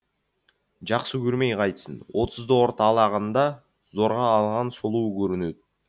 жақсы көрмей қайтсін отызды орталағанда зорға алған сұлуы көрінеді